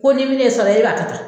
Konin min ne e sɔrɔ e b'a tan